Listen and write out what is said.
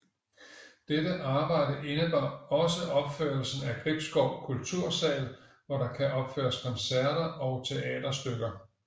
Dette arbejde indebar også opførelsen af Gribskov kultursal hvor der kan opføres koncerter og teaterstykker